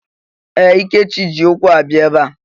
Ee! Ikechi ji ụkwụ abịa ebe a.